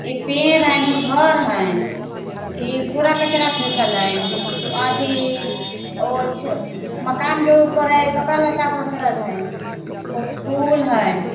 ई पेड़ हई ओने घर हई। ई कूड़ा कचरा फेकल हई अथी ओछ मकान के ऊपर कपड़ा लत्ता पसरल हइन। उ फूल हइन।